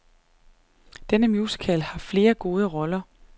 Denne musical har flere gode roller.